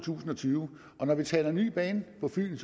tusind og tyve og når vi taler om ny bane på fyn